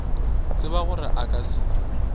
tseba gore a ka se